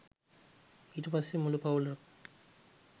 ඊට පස්සේ මුළු පවුලම